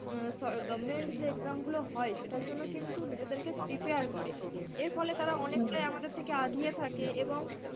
উম government যে exam গুলো হয় সেটার জন্য কিন্তু নিজেদেরকে prepare করে। এর ফলে তারা অনেকটাই আমাদের থেকে আগিয়ে থাকে এবং,